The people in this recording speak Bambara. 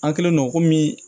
An kɛlen don komi